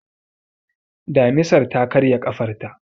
Damisar ta karye ƙafarta.